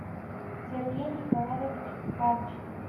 сергей николаевич банщиков